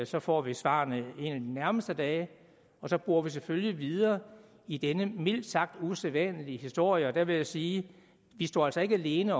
så får vi svarene en af de nærmeste dage og så borer vi selvfølgelig videre i denne mildt sagt usædvanlige historie og der vil jeg sige vi står altså ikke alene